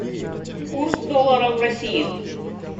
курс доллара в россии